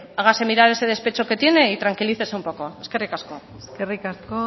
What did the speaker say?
hágase mirar ese despecho que tiene y tranquilícese un poco eskerrik asko eskerrik asko